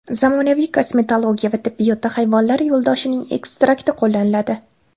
Zamonaviy kosmetologiya va tibbiyotda hayvonlar yo‘ldoshining ekstrakti qo‘llaniladi.